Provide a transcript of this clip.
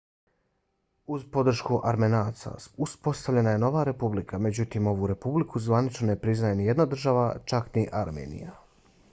uz podršku armenaca uspostavljena je nova republika. međutim ovu republiku zvanično ne priznaje nijedna država čak ni armenija